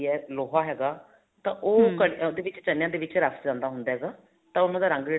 ਲੋਹਾ ਹੈਗਾ ਤਾਂ ਉਹ ਉਹਦੇ ਵਿੱਚ ਚਨੇਆਂ ਦੇ ਵਿੱਚ ਰੱਸ ਜਾਂਦਾ ਹੁੰਦਾ ਹੈਗਾ ਤਾਂ ਉਹਨਾ ਦਾ ਰੰਗ ਜਿਹੜਾ